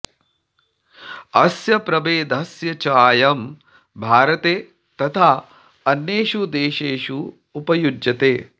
अस्य प्रभेदस्य चायं भारते तथा अन्येषु देशेषु उपयुज्यते